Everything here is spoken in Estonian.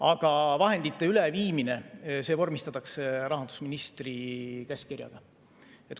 Aga vahendite üleviimine vormistatakse rahandusministri käskkirjaga.